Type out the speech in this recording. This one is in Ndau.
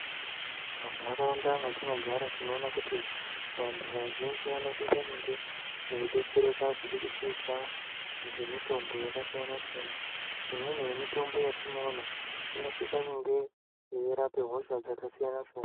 Munharaunda mwetinogara tinoona kuti vantu vazhinji vanosisa kunge veidetsereka kubudikidza ngemitombo yakasiyana-siyana. Imweni yemitombo yatinoona inosisa kunge yeirape hosha dzakasiyana-siyana.